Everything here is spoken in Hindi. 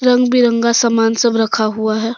रंग बिरंगा सामान सब रखा हुआ है।